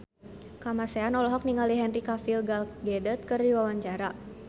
Kamasean olohok ningali Henry Cavill Gal Gadot keur diwawancara